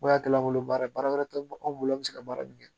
Ko yɛrɛ kɛla an bolo baara ye, baara wɛrɛ tɛ anw bolo an bɛ se ka baara min kɛ.